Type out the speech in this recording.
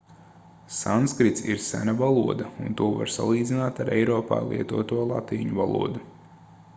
sanskrits ir sena valoda un to var salīdzināt ar eiropā lietoto latīņu valodu